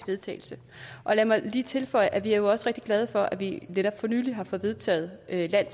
vedtagelse og lad mig lige tilføje at vi jo også er rigtig glade for at vi netop for nylig har fået vedtaget land